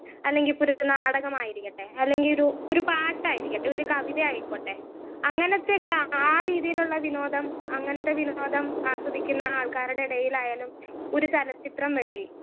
speaker 1 അല്ലെങ്കി ഇപ്പൊരു നാടകമായിരിക്കട്ടെ അല്ലേങ്കിയൊരു ഒരു പാട്ടായിരിക്കട്ടെ ഒരു കവിത ആയിക്കോട്ടെ അങ്ങനത്തക്കെ ആ രീതിയിലുള്ള വിനോദം അങ്ങനത്തെ വിനോദം ആസ്വദിക്കുന്ന ആൾക്കാരടെ എടയിലായാലും ഒരു ചെലചിത്രം മെഴി